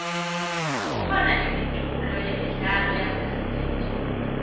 kukhona imiculo yemidlalo yasesiteji